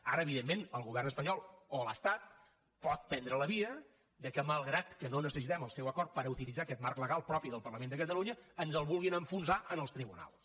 ara evidentment el govern espanyol o l’estat pot prendre la via que malgrat que no necessitem el seu acord per utilitzar aquest marc legal propi del parlament de catalunya ens el vulguin enfonsar en els tribunals